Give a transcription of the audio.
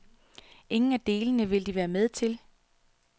Ingen af delene ville de være med til.